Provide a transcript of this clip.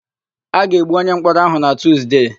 A ga-egbu onyemkpọrọ áhụ̀ na Tuzde.